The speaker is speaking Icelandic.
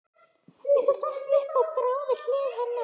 Eins og fest upp á þráð við hlið hennar.